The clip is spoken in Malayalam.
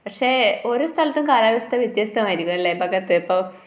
പക്ഷെ ഓരോ സ്ഥലത്തും കാലാവസ്ഥ വ്യത്യസ്തമായിരിക്കും അല്ലേ ഭഗത് ഇപ്പൊ